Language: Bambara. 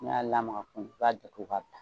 I b'a lamaka kun i b'a datugu k'a bila.